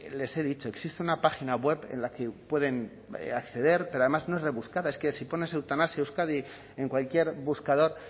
les he dicho existe una página web en la que pueden acceder pero además no es rebuscada es que si pones eutanasia euskadi en cualquier buscador